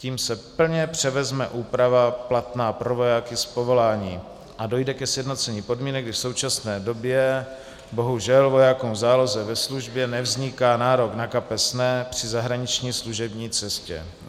Tím se plně převezme úprava platná pro vojáky z povolání a dojde ke sjednocení podmínek, kdy v současné době bohužel vojákům v záloze ve službě nevzniká nárok na kapesné při zahraniční služební cestě.